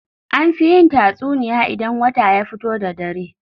An fi yin tatsuniya idan wata ya fito da dare.